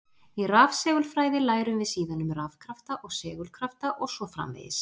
Í rafsegulfræði lærum við síðan um rafkrafta og segulkrafta og svo framvegis.